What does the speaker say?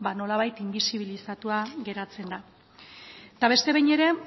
nolabait inbisibilizatua geratzen da eta beste behin ere